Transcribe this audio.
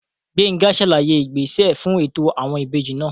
Gbénga sàlàyé ìgbésẹ fún ètò àwọn ìbejì náà